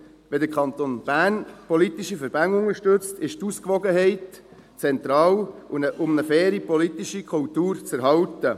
– Wenn der Kanton Bern politische Verbände unterstützt, ist die Ausgewogenheit zentral, um eine faire politische Kultur zu erhalten.